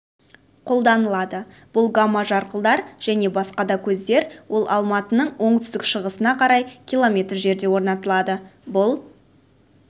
қолданылады бұл гамма-жарқылдар және басқа да көздер ол алматының оңтүстік-шығысына қарай км жерде орнатылады бұл